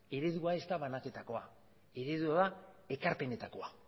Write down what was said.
eredua ez da banaketakoa eredua ekarpenetakoa